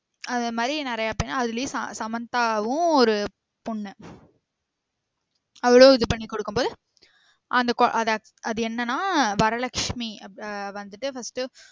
அதே மாதிரி நெறைய பேர் அதுலயும் சமந்தாவும் ஒரு பொண்ணு அவளும் இது பண்ணி குடுக்கும் போது அந்த கொழ~ அது அக்க~ அது என்னன்னா வரலக்ஷ்மி வ~ வந்திட்டு first உ